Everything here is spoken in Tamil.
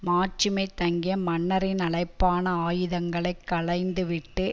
மாட்சிமை தங்கிய மன்னரின் அழைப்பான ஆயுதங்களை களைந்து விட்டு